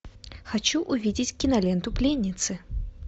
хочу увидеть киноленту пленницы